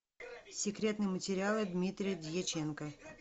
секретные материалы дмитрия дьяченко